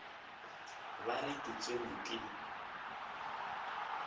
ba re ke tsenwe ke